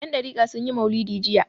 Yandariƙa sun yi maulidi jiya.